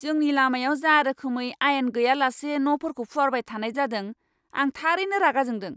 जोंनि लामायाव जा रोखोमै आयेन गैयालासे न'फोरखौ फुवारबाय थानाय जादों, आं थारैनो रागा जोंदों!